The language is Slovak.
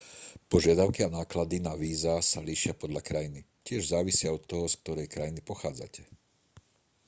požiadavky a náklady na víza sa líšia podľa krajiny tiež závisia od toho z ktorej krajiny pochádzate